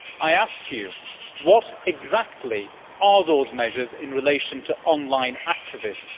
I ask you, what exactly are those measures in relation to online activists?